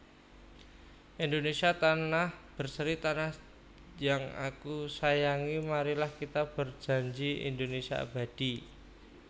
Indonésia tanah berseri Tanah jang aku sajangi Marilah kita berdjandji Indonésia abadi